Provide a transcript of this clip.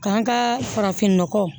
K'an ka farafin nɔgɔ